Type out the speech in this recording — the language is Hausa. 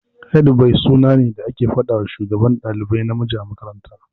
Headboy suna ne da ake fadawa Shugaban dalibai namiji a makaranta.